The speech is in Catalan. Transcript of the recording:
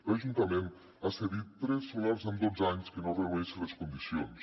l’ajuntament ha cedit tres solars en dotze anys que no reuneixen les condicions